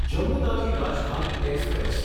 Jammu Tawi Rajdhani express